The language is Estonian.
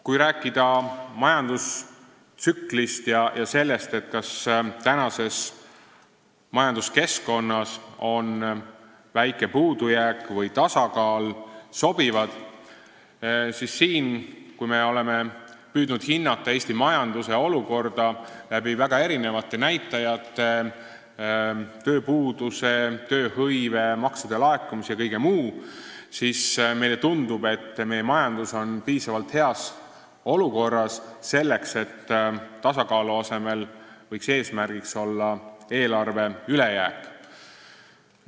Kui rääkida majandustsüklist ja sellest, kas tänases majanduskeskkonnas on väike puudujääk või tasakaal sobivad, siis kui me oleme püüdnud hinnata Eesti majanduse olukorda väga erinevate näitajate abil – tööpuudus, tööhõive, maksude laekumine ja kõik muu –, on meile tundunud, et meie majandus on piisavalt heas olukorras, selleks et tasakaalu asemel võiks eesmärgiks olla eelarve ülejääk.